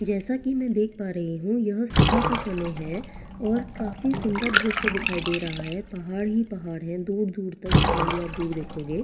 जैसा कि मैं देख पा रही हूं यह सुबह का समय है और काफ़ी सुंदर दृश्य दिखाई दे रहा है पहाड़ ही पहाड़ है दूर दूर तक जितना भी आप दूर देखोगे और --